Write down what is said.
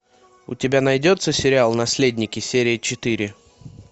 у тебя найдется сериал наследники серия четыре